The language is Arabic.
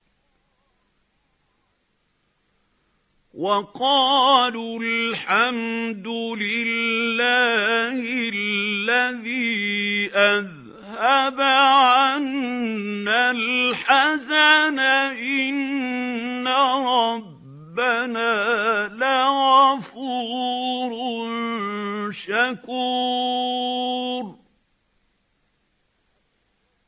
وَقَالُوا الْحَمْدُ لِلَّهِ الَّذِي أَذْهَبَ عَنَّا الْحَزَنَ ۖ إِنَّ رَبَّنَا لَغَفُورٌ شَكُورٌ